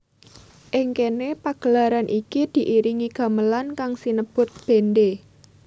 Ing kéné pagelaran iki diiringi gamelan kang sinebut bendhé